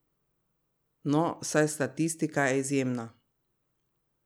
No, saj statistika je izjemna.